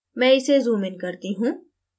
मैं इसे zoomin करता हूँ